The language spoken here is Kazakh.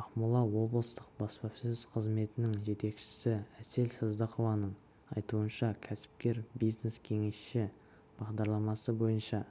ақмола облыстық баспасөз қызметінің жетекшісі әсел сыздықованың айтуынша кәсіпкер бизнес-кеңесші бағдарламасы бойынша